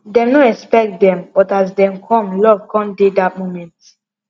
dem no expect dem but as dem come love come dey dat moment